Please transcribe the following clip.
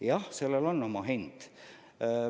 Jah, sellel on oma hind.